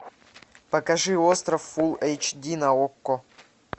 покажи остров фул эйч ди на окко